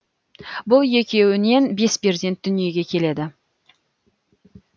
бұл екеуінен бес перзент дүниеге келеді